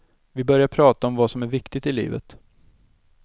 Vi började prata om vad som är viktigt i livet.